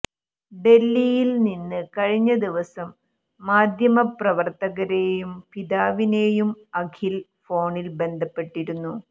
ഡൽഹിയിൽ നിന്ന് കഴിഞ്ഞ ദിവസം മാദ്ധ്യമപ്രവർത്തകരെയും പിതാവിനെയും അഖിൽ ഫോണിൽ ബന്ധപ്പെട്ടിരുന്നു